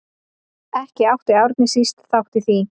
Ekki átti Árni síst þátt í því.